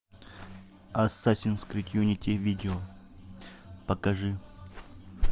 ассасинс крид юнити видео покажи